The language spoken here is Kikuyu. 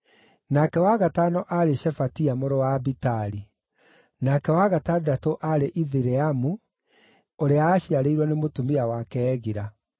nake wa gatano aarĩ Shefatia mũrũ wa Abitali; nake wa gatandatũ aarĩ Ithireamu ũrĩa aaciarĩirwo nĩ mũtumia wake Egila.